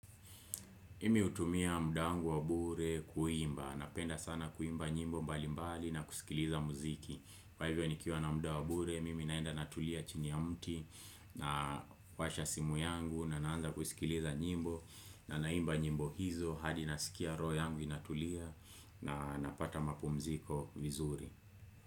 Mimi hutumia muda wangu wa bure kuimba, napenda sana kuimba nyimbo mbali mbali na kusikiliza muziki. Kwa hivyo nikiwa na muda wa bure, mimi naenda natulia chini ya mti na kuwasha simu yangu na naanza kusikiliza nyimbo. Na naimba nyimbo hizo hadi nasikia roho yangu inatulia na napata mapumziko vizuri.